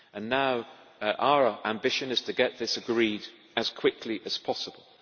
Now our ambition is to get this agreed as quickly as possible.